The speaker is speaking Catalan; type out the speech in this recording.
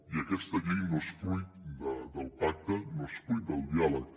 i aquesta llei no és fruit del pacte no és fruit del diàleg